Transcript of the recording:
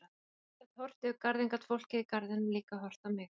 Og ef ég gat horft yfir garðinn gat fólkið í garðinum líka horft á mig.